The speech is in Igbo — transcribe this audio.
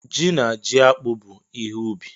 Ji na ji akpụ bụ ihe ubi.